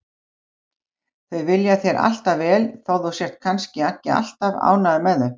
Þau vilja þér alltaf vel þó þú sért kannski ekki alltaf ánægður með þau.